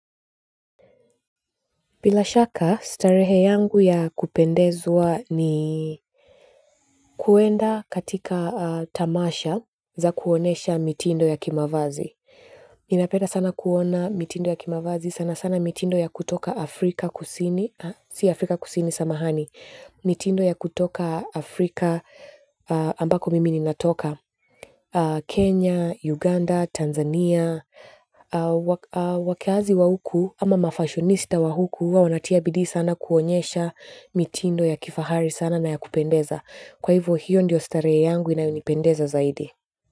Bila shaka, starehe yangu ya kupendezwa ni kuenda katika tamasha za kuonesha mitindo ya kimavazi. Ninapenda sana kuona mitindo ya kimavazi sana sana mitindo ya kutoka afrika kusini si afrika kusini samahani mitindo ya kutoka Afrika ambako mimi nimetoka Kenya, Uganda, Tanzania wakaazi wa huku ama mafashonista wa huku huwa wanatia bidii sana kuonyesha mitindo ya kifahari sana na ya kupendeza kwa hivyo hiyo ndiyo starehe yangu inayonipendeza zaidi.